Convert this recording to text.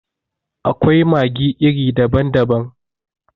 Akwai maggi iri daban daban.